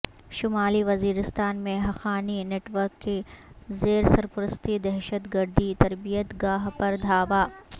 شمالی وزیرستان میں Haqqani network کی زیرسرپرستی دہشت گردی تربیت گاہ پر دھاوا